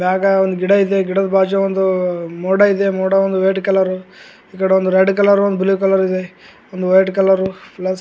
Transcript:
ಮ್ಯಾಗ ಒಂದು ಗಿಡ ಇದೆ ಗಿಡದ್ ಬಾಜು ಒಂದು ಮೋಡ ಇದೆ ಮೋಡ ಒಂದು ರೆಡ್ ಕಲರು ಆಕಡೆ ಒಂದು ರೆಡ್ ಕಲರು ಒಂದು ಬ್ಲಾಕ್ ಕಲರ್ ಒಂದು ವೈಟ್ ಕಲರು .--